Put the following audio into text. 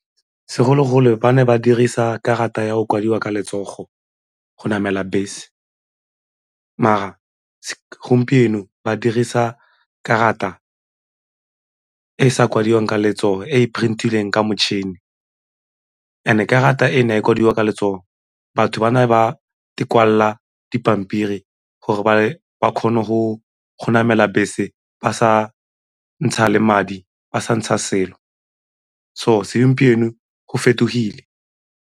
Segologolo ba ne ba dirisa karata ya go kwadiwa ka letsogo go namela bese, mara gompieno ba dirisa karata e e sa kwadiwang ka letsogo e e print-ileng ka motšhini and-e karata e ne e kwadiwa ka letsogo batho ba ne ba kwala dipampiri gore ba kgone go namela bese ba sa ntsha le madi ba sa ntsha selo, so segompieno go fetogile.